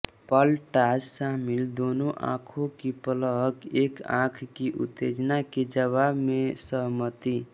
पलटा शामिल दोनों आंखों की पलक एक आंख की उत्तेजना के जवाब में सहमति